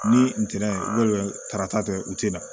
Ni ntɛnɛn karata kɛ u tɛna